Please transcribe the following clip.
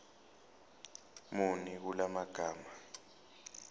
muni kula magama